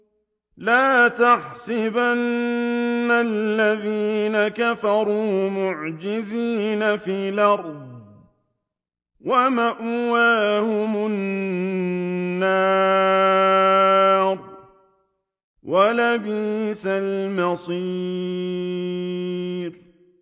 لَا تَحْسَبَنَّ الَّذِينَ كَفَرُوا مُعْجِزِينَ فِي الْأَرْضِ ۚ وَمَأْوَاهُمُ النَّارُ ۖ وَلَبِئْسَ الْمَصِيرُ